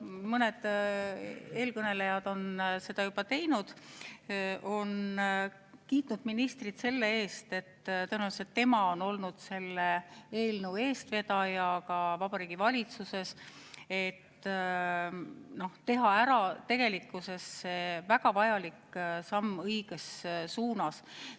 Mõned eelkõnelejad on seda juba teinud, nad on kiitnud ministrit selle eest, et tõenäoliselt on tema olnud selle eelnõu eestvedaja ka Vabariigi Valitsuses, et teha ära see väga vajalik samm õiges suunas.